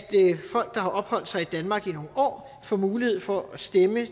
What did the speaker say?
folk der har opholdt sig i danmark i nogle år får mulighed for at stemme